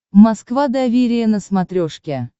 москва доверие на смотрешке